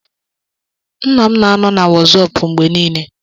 Nna m na-anọ na Wọsọpu mgbe niile.